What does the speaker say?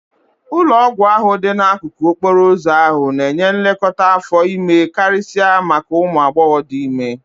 Ụlọọgwụ ahụ dị n'akụkụ okporo ụzọ ahụ na-enye nlekọta afọ ime karịsịa maka ụmụ agbọghọ dị ime